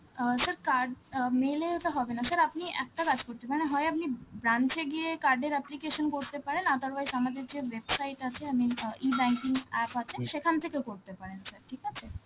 অ্যাঁ sir card~ uh mail এ ওটা হবে না, sir আপনি একটা কাজ করতে পারেন, হয় আপনি branch এ গিয়ে card এর application করতে পারেন, otherwise আমাদের যে website আছে, I mean uh E-banking app আছে, সেখান থেকে করতে পারেন sir, ঠিক আছে?